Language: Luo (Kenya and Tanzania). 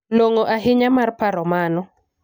Long'o ahinya mar paro mano.